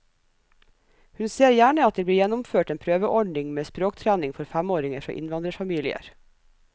Hun ser gjerne at det blir gjennomført en prøveordning med språktrening for femåringer fra innvandrerfamilier.